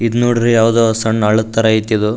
ಇದ್ ನೋಡುದ್ರೆ ಯಾವ್ದೋ ಸಣ್ನ ಅಲದ್ ತರ ಐತ್ ಇದು --